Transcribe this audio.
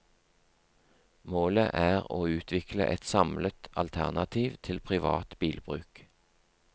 Målet er å utvikle et samlet alternativ til privat bilbruk.